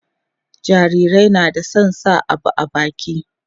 jarirai na da San sa abubuwa a baki